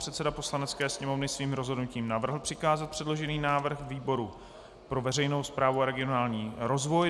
Předseda Poslanecké sněmovny svým rozhodnutím navrhl přikázat předložený návrh výboru pro veřejnou správu a regionální rozvoj.